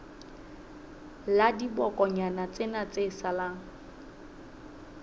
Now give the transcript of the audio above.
la dibokonyana tsena tse salang